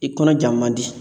I kɔnɔ ja man di